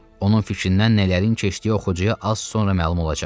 Onun fikrindən nələrin keçdiyi oxucuya az sonra məlum olacaq.